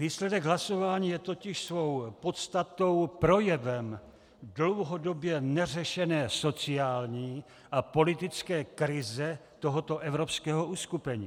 Výsledek hlasování je totiž svou podstatou projevem dlouhodobě neřešené sociální a politické krize tohoto evropského uskupení.